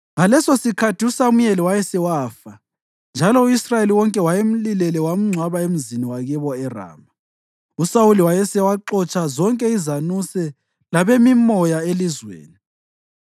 Ngalesosikhathi uSamuyeli wayesewafa, njalo u-Israyeli wonke wayemlilele wamgcwaba emzini wakibo eRama. USawuli wayesewaxotsha zonke izanuse labemimoya elizweni.